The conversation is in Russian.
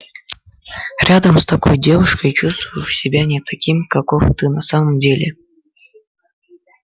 рядом с такой девушкой чувствуешь себя не таким каков ты на самом деле